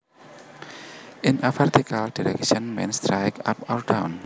In a vertical direction means straight up or down